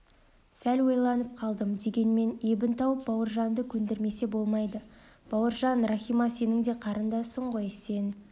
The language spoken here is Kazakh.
сәл ойланып қалдым дегенмен ебін тауып бауыржанды көндірмесе болмайды бауыржан рахима сенің де қарындасың ғой сен